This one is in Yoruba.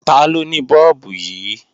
Taló ni Bọ́ọ̀bù yìí?